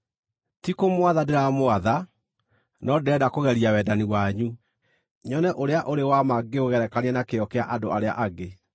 Ti kũmwatha ndĩramwatha, no ndĩrenda kũgeria wendani wanyu, nyone ũrĩa ũrĩ wa ma ngĩũgerekania na kĩyo kĩa andũ arĩa angĩ.